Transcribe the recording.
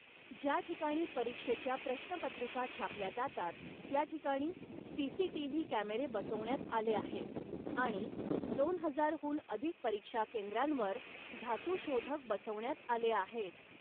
ज्या ठिकाणी परीक्षेच्या प्रश्नपत्रिका छापल्या जातात त्या ठिकाणी सीसीटीव्ही कॅमेरे बसवण्यात आले आहेत आणि दोन हजारहून अधिक परीक्षा केंद्रांवर धातू शोधक बसवण्यात आले आहेत.